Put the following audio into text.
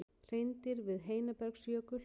Hreindýr við Heinabergsjökul.